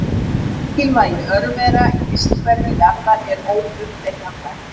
Mikilvægi örvera í vistkerfi jarðar er óumdeilanlegt.